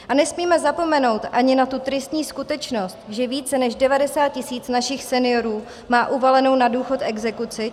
A nesmíme zapomenout ani na tu tristní skutečnost, že více než 90 tisíc našich seniorů má uvalenou na důchod exekuci.